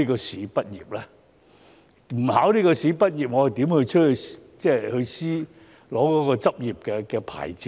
若不通過考試，我如何取得醫專的執業牌照呢？